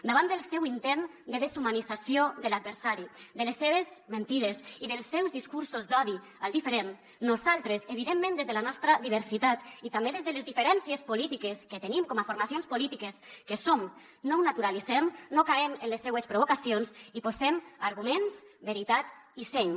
davant del seu intent de deshumanització de l’adversari de les seves mentides i dels seus discursos d’odi al diferent nosaltres evidentment des de la nostra diversitat i també des de les diferències polítiques que tenim com a formacions polítiques que som no ho naturalitzem no caiem en les seues provocacions i posem arguments veritat i seny